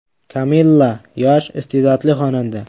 Kamilla yosh, iste’dodli xonanda.